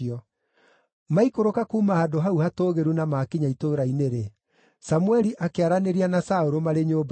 Maikũrũka kuuma handũ hau hatũũgĩru na maakinya itũũra-inĩ-rĩ, Samũeli akĩaranĩria na Saũlũ marĩ nyũmba igũrũ.